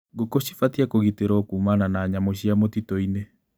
Ngũkũ cibatie kũgitĩrwo kumana na nyamũ cia mũtituinĩ.